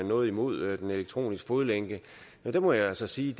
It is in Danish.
noget imod den elektroniske fodlænke der må jeg altså sige